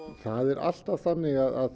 það er alltaf þannig að